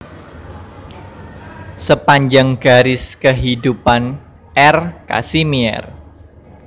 Sepanjang Garis Kehidupan R Kasimier